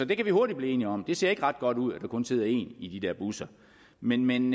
kan vi hurtigt blive enige om det ser ikke ret godt ud at der kun sidder én i de der busser men men